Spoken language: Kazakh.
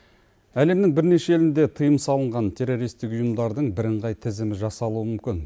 әлемнің бірнеше елінде тиым салынған террористтік ұйымдардың бірыңғай тізімі жасалуы мүмкін